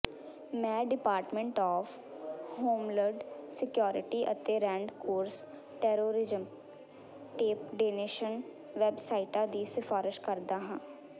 ਮੈਂ department of homeland security ਅਤੇ red cross terrorism ਟੇਪਡੇਨੇਸ਼ਨ ਵੈਬਸਾਈਟਾਂ ਦੀ ਸਿਫ਼ਾਰਸ਼ ਕਰਦਾ ਹਾਂ